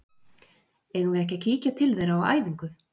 Eigum við ekki að kíkja til þeirra á æfingu?